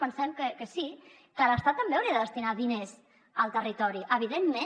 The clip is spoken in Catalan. pensem que sí que l’estat també hauria de destinar diners al territori evidentment